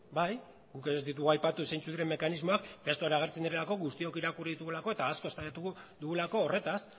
bai guk ere ez ditugu aipatu zentzuk diren mekanismoak testuan agertzen direlako guztiok irakurri ditugulako eta asko eztabaidatu dugulako horretaz